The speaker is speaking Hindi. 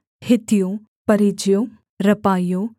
हित्तियों परिज्जियों रापाइयों